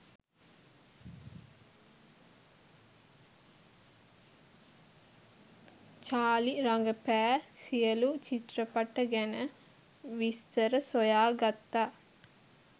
Charlie රඟපෑ සියලු චිත්‍රපට ගැන විස්තර සොයා ගත්තා